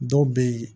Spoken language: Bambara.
Dɔw bɛ yen